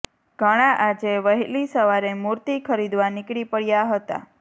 ઘણા આજે વહેલી સવારે મૂર્તિ ખરીદવા નીકળી પડયાં હતા